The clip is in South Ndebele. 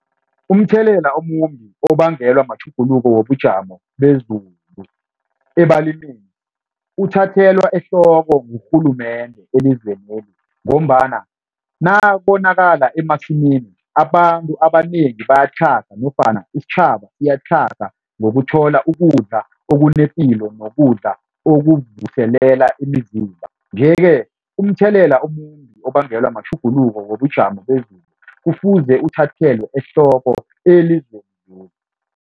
Umthelela omumbi obangelwa matjhuguluko wobujamo bezulu ebalimini uthathelwa ehloko ngurhulumende elizweneli ngombana nabonakala emasimini, abantu abanengi bayatlhaga nofana isitjhaba siyatlhaga ngokuthola ukudla okunepilo nokudla okuvuselela imizimba nje-ke umthelela omumbi obangelwa matjhuguluko wobujamo bezulu kufuze uthathelwa ehloko